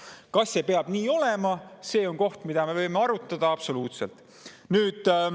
Seda, kas see peab nii olema, me võime arutada, absoluutselt.